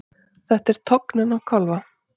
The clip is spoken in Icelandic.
Þetta er tognun á kálfa.